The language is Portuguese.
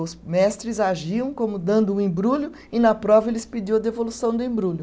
Os mestres agiam como dando o embrulho e na prova eles pediam a devolução do embrulho.